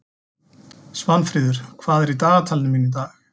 Svanfríður, hvað er í dagatalinu mínu í dag?